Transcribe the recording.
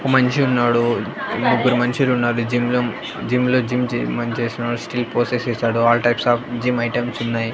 ఒక మనిషి ఉన్నాడు ముగ్గురు మనుషులు ఉన్నారు జిమ్లో జిమ్లో జిమ్ చే మన్చేస్తున్నారు స్టీల్ పొసెస్ చేశాడు all types of gym items ఉన్నాయి.